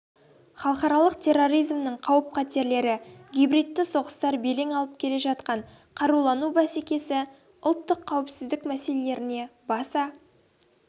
халықаралық терроризмнің қауіп-қатерлері гибридті соғыстар белең алып келе жатқан қарулану бәсекесі ұлттық қауіпсіздік мәселелеріне баса